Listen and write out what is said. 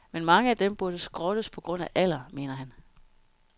Men mange af dem burde skrottes på grund af alder, mener han.